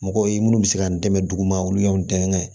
Mɔgɔw ye minnu bɛ se k'an dɛmɛ duguma olu y'an dɛmɛ